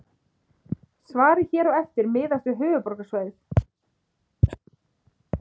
Svarið hér á eftir miðast við höfuðborgarsvæðið.